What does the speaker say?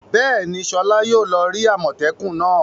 Bẹ́ẹ̀ni, Sola yóò lọ rí àmọ́tẹ́kùn náà.